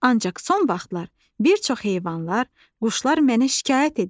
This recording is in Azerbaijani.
Ancaq son vaxtlar bir çox heyvanlar, quşlar mənə şikayət edirlər.